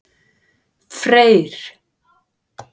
Freyr